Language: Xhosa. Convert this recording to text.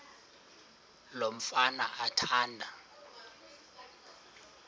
lo mfana athanda